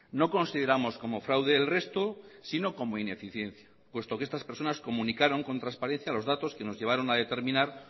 no consideramos como fraude el resto sino como ineficiencia puesto que estas personas comunicaron con transparencia los datos que nos llevaron a determinar